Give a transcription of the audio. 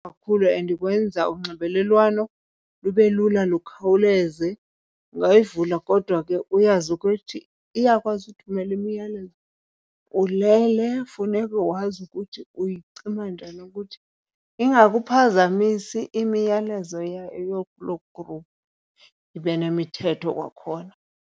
Kakhulu and ikwenza unxibelelwano lube lula lukhawuleze. Ungayivula kodwa ke uyazi ukuthi iyakwazi uthumela imiyalelo ulele, funeka wazi ukuthi uyicima njani ukuthi ingakuphazamisi imiyalezo yayo loo group, ibe nemithetho kwakhona.